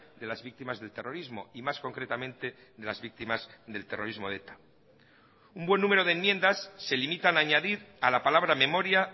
de las víctimas del terrorismo y más concretamente de las víctimas del terrorismo de eta un buen número de enmiendas se limitan a añadir a la palabra memoria